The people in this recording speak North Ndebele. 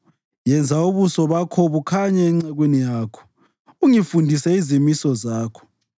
Yenza ubuso bakho bukhanye encekwini yakho, ungifundise izimiso zakho.